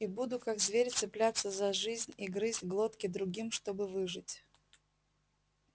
и буду как зверь цепляться за жизнь и грызть глотки другим чтобы выжить